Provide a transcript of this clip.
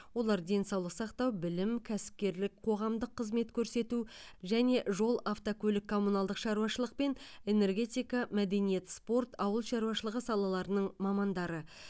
олар денсаулық сақтау білім кәсіпкерлік қоғамдық қызмет көрсету және жол автокөлік коммуналдық шаруашылық пен энергетика мәдениет спорт ауыл шаруашылығы салаларының мамандары